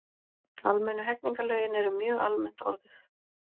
Almennu hegningarlögin eru mjög almennt orðuð.